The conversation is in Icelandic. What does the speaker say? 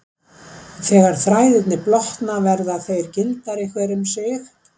Þegar þræðirnir blotna verða þeir gildari hver um sig.